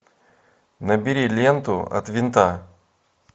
набери ленту от винта